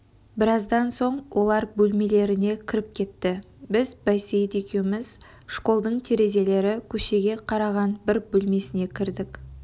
біраздан соң олар бөлмелеріне кіріп кетті біз байсейіт екеуміз школдың терезелері көшеге қараған бір бөлмесіне кірдік